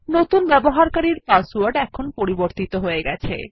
নতুন ব্যবহারকারীর পাসওয়ার্ড এখন পরিবর্তিত হয়ে গেছে